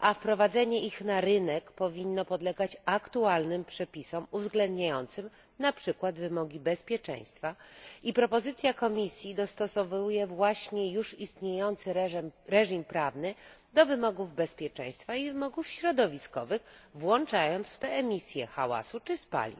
a wprowadzenie ich na rynek powinno podlegać aktualnym przepisom uwzględniającym na przykład wymogi bezpieczeństwa, i wniosek Komisji dostosowuje właśnie już istniejący reżim prawny do wymogów bezpieczeństwa i wymogów środowiskowych, włączając w to emisje hałasu czy spalin.